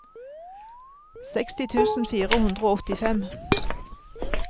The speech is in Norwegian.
seksti tusen fire hundre og åttifem